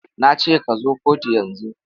Na ce ka zo kotu yanzu!